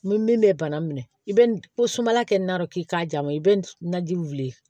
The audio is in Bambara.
Ni min bɛ bana minɛ i bɛ ko sumala kɛ na dɔrɔn k'i k'a ja ma i bɛ najiw wili